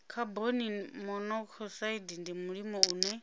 khaboni monokosaidi ndi mulimo une